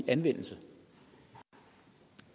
egentlig